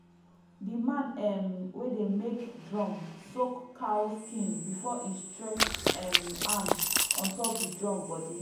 the man um wey dey make drum soak cow skin before e stretch um am on top the drum body.